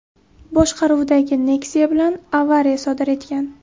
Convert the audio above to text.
boshqaruvidagi Nexia bilan avariya sodir etgan.